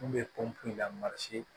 N kun bɛ pɔnpe la